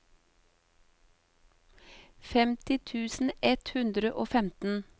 femti tusen ett hundre og femten